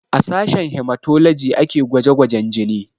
A sashen hematology ake gwaje gwajen jini